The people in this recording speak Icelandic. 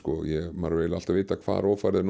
maður hefur alltaf vitað hvar ófærð er